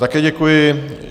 Také děkuji.